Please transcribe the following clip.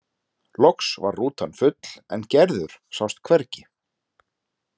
Loks var rútan full en Gerður sást hvergi.